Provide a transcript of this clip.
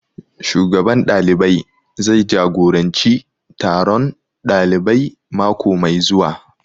Shugaban ɗalibai zai jagoranci taron ɗalibai mako mai zuwa